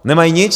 Nemají nic.